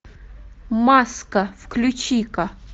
маска включи ка